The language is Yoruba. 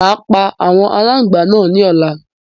Màá pa àwọn aláǹgbá náà ní ọ̀la